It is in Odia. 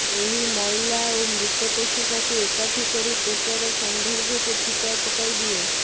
ଏହା ମଇଳା ଓ ମୃତ କୋଷିକାକୁ ଏକାଠି କରି ତ୍ୱଚାର ସୌନ୍ଦର୍ଯ୍ୟକୁ ଫିକା ପକାଇଦିଏ